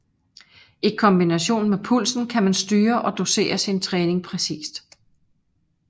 I kombination med pulsen kan man styre og dosere sin træning præcist